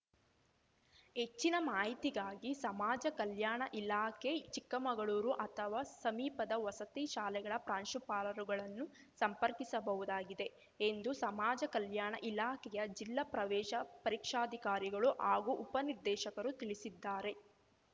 ಹೆಚ್ಚಿನ ಮಾಹಿತಿಗಾಗಿ ಸಮಾಜ ಕಲ್ಯಾಣ ಇಲಾಖೆ ಚಿಕ್ಕಮಗಳೂರು ಅಥವಾ ಸಮೀಪದ ವಸತಿ ಶಾಲೆಗಳ ಪ್ರಾಂಶುಪಾಲರುಗಳನ್ನು ಸಂಪರ್ಕಿಸಬಹುದಾಗಿದೆ ಎಂದು ಸಮಾಜ ಕಲ್ಯಾಣ ಇಲಾಖೆಯ ಜಿಲ್ಲಾ ಪ್ರವೇಶ ಪರೀಕ್ಷಾಧಿಕಾರಿಗಳು ಹಾಗೂ ಉಪನಿರ್ದೇಶಕರು ತಿಳಿಸಿದ್ದಾರೆ